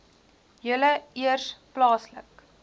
julle eers plaaslik